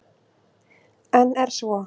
En er svo?